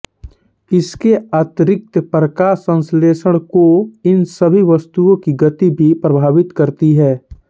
इसके अतिरिक्त प्रकाश संश्लेषण को इन सभी वस्तुओं की गति भी प्रभावित करती है